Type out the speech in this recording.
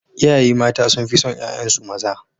Iyaye mata sun fi son ƴaƴansu maza.